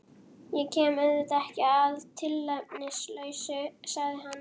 Ég kem auðvitað ekki að tilefnislausu, sagði hann.